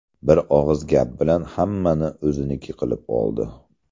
Bir og‘iz gap bilan hammani o‘ziniki qilib oldi.